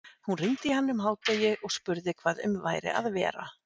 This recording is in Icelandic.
Hún hringdi í hann um hádegi og spurði hvað um væri að vera.